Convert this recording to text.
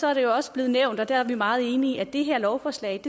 er det jo også blevet nævnt og der er vi meget enige at det her lovforslag